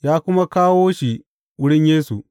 Ya kuma kawo shi wurin Yesu.